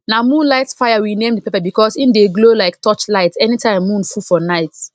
na moonlight fire we name di pepper because e dey glow like torchlight anytime moon full for night